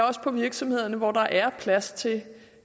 også på virksomhederne hvor der er plads til